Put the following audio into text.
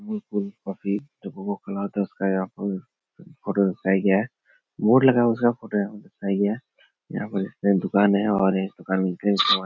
यह full copy board लगा हुआ उसका फोटो है यहाँ पर एक दुकान और ये दुकान --